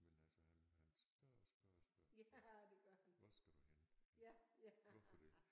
Men altså han han spørger og spørger og spørger hvor skal du hen hvorfor det